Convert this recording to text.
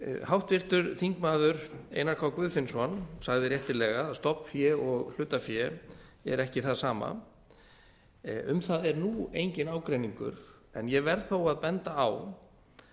háttvirtur þingmaður einar k guðfinnsson sagði réttilega að stofnfé og hlutafé er ekki það sama um það er nú enginn ágreiningur en ég verð þó að benda á